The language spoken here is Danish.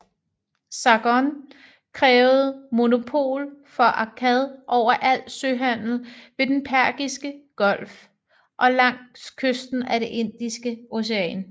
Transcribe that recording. Sargon krævede monopol for Akkad over al søhandel ved den persiske golf og langs kysten af det Indiske Ocean